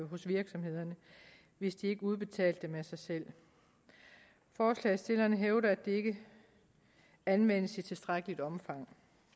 hos virksomhederne hvis de ikke udbetalte dem af sig selv forslagsstillerne hævder at det ikke anvendes i tilstrækkeligt omfang